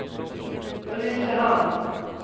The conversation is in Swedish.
Ulricehamn